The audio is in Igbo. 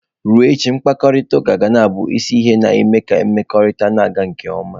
Ruo echi, mkparịta uka ga na-abụ isi ihe na-eme ka mmekọrịta na-aga nke ọma.